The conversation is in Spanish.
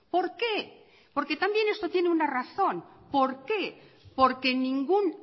por qué porque también esto tiene una razón por qué porque ningún